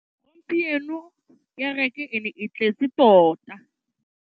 Gompieno kêrêkê e ne e tletse tota.